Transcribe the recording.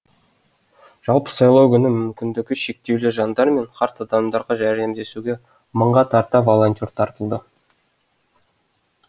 жалпы сайлау күні мүмкіндігі шектеулі жандар мен қарт адамдарға жәрдемдесуге мыңға тарта волонтер тартылды